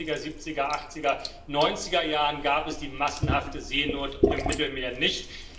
In den 60 er, 70 er, 80 er und 90 er Jahren gab es die massenhafte Seenot im Mittelmeer nicht.